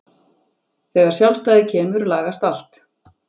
Þegar sjálfstæðið kemur lagast allt.